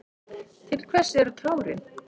Til hvers eru tárin?